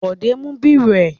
Bọ̀dé mú bírò ẹ?